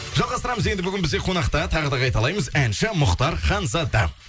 жалғастырамыз енді бүгін бізде қонақта тағы да қайталаймыз әнші мұхтар ханзада